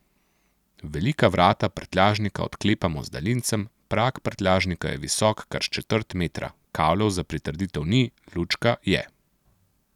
Velika vrata prtljažnika odklepamo z daljincem, prag prtljažnika je visok kar četrt metra, kavljev za pritrditev ni, lučka je.